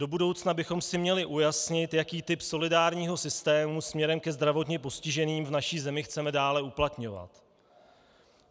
Do budoucna bychom si měli ujasnit, jaký typ solidárního systému směrem ke zdravotně postiženým v naší zemi chceme dále uplatňovat.